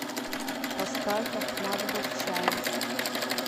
поставь ахмат батчаев